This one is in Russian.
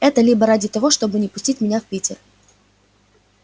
это либо ради того чтобы не пустить меня в питер